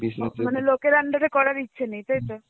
মানে লোকের under এ করার ইচ্ছে নেই তাই তো?